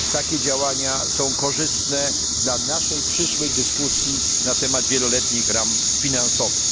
Takie działania są korzystne dla naszej przyszłej dyskusji na temat wieloletnich ram finansowych.